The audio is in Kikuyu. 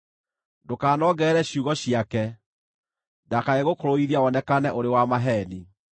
Ndũkanongerere ciugo ciake, ndakae gũkũrũithia wonekane ũrĩ wa maheeni.